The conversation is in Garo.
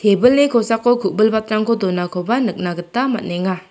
ebilni kosako ku·bilbatrangko donakoba nikna gita man·enga.